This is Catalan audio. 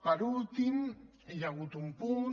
per últim hi ha hagut un punt